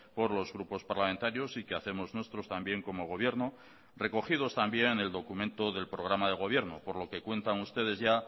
por los grupos parlamentarios y que hacemos nuestros también como gobierno recogidos también en el documento del programa de gobierno por lo que cuentan ustedes ya